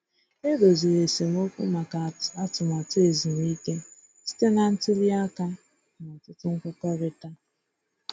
E doziri esemokwu maka atụmatụ ezumike site na ntuli aka na ọtụtụ nkwekọrịta.